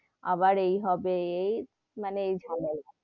আবার এই হবে এই, মানে এই .